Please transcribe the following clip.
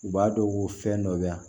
U b'a dɔn ko fɛn dɔ bɛ yan